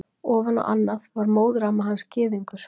Ofan á annað var móðuramma hans gyðingur.